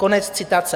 Konec citace.